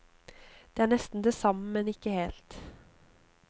Det er nesten det samme, men ikke helt.